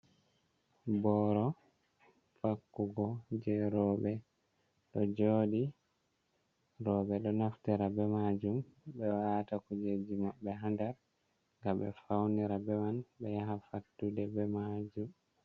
Boro vakkugo je robe ɗo joɗi. Roobe ɗo naftira be majum. Be wata kujeji mabbe ha nɗar. Ga be faunira beman be yaha fattuɗe be majum.